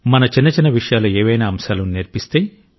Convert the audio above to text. మన చిన్న చిన్న విషయాలు ఏవైనా అంశాలను నేర్పిస్తే